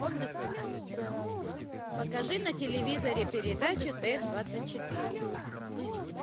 покажи на телевизоре передачу т двадцать четыре